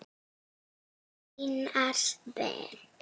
Einars Ben.